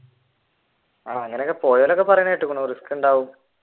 പോയവരൊക്കെ പറയണ കേട്ടിരിക്കുന്നു റിസ്ക് ഉണ്ടാവും